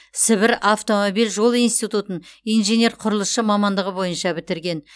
сібір автомобиль жол институтын инженер құрылысшы мамандығы бойынша бітірген